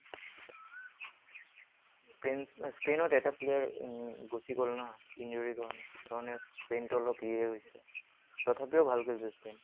Spain ত এটা player গুছি গল ন? Injury কাৰণে। সেইকাৰণে স্পেইনটো অলপ ইয়ে হৈছে, তথাপিও ভাল খেলিছে স্পেইন